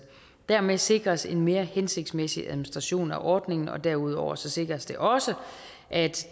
dermed sikres en mere hensigtsmæssig administrationen af ordningen derudover sikres det også at